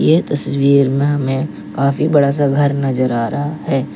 इस तस्वीर में हमें काफी बड़ा सा घर नजर आ रहा है।